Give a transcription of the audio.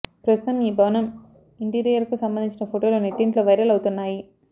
ప్రస్తుతం ఈ భవనం ఇంటీరియర్కు సంబంధించిన ఫొటోలు నెట్టింట్లో వైరల్ అవుతున్నాయి